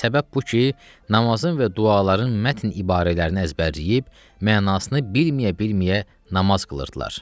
Səbəb bu ki, namazın və duaların mətn ibarələrini əzbərləyib, mənasını bilməyə-bilməyə namaz qılırdılar.